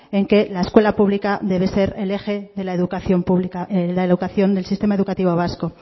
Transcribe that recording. en que la escuela pública debe ser el eje de la educación pública la educación del sistema educativo vasco